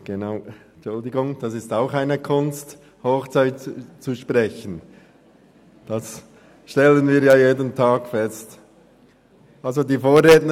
Genau, Hochdeutsch zu sprechen ist auch eine Kunst, wie wir jeden Tag feststellen.